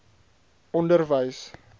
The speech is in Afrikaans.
onderwys